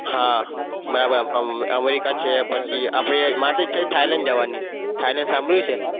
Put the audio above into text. હા આમાં એકાદ america માર તો ઈચ્છા છે thailand જવાની thailand સાંભળ્યું છે?